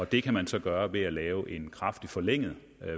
det kan man så gøre ved at lave en kraftig forlænget